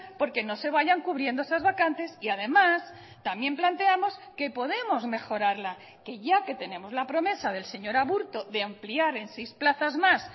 porque no se vayan cubriendo esas vacantes y además también planteamos que podemos mejorarla que ya que tenemos la promesa del señor aburto de ampliar en seis plazas más